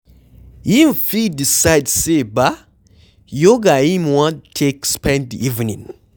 Im fit decide sey ba Yoga im wan take spend di evening